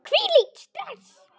Hvílíkt stress!